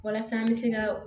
Walasa an bɛ se ka